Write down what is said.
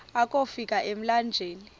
akofi ka emlanjeni